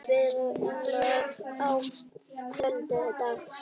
Grillað að kvöldi dags.